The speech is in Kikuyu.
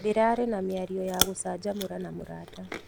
Ndĩrarĩ na mĩario ya gũcanjamũra na mũrata.